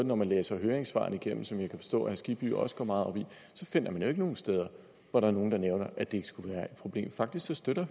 når man læser høringssvarene igennem som jeg kan forstå at herre skibby også går meget op i ikke nogen steder hvor der er nogen der nævner at det ikke skulle være et problem faktisk støtter